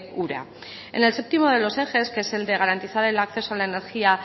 ura en el séptimo de los ejes que es el de garantizar el acceso a la energía